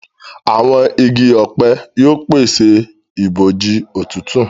Àwọn ìgi ọpẹ yóò pese ibojì òtútù.